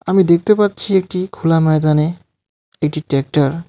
আমি দেখতে পাচ্ছি একটি খোলা ময়দানে একটি টেকটার .